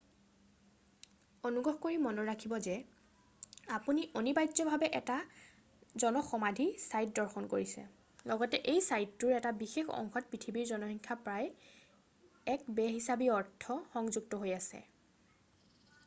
অনুগ্ৰহ কৰি মনত ৰাখিব যে আপুনি অনিবাৰ্যভাৱে এটা জন সমাধি ছাইট দৰ্শন কৰিছে লগতে এই ছাইটটোৰ এটা বিশেষ অংশত পৃথিৱীৰ জনসংখ্যাৰ প্ৰায় এক বে-হিচাবী অৰ্থ সংযুক্ত হৈ আছে